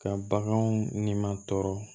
Ka baganw ni ma tɔɔrɔ